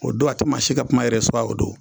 O don a tɛ maa si ka kuma o don.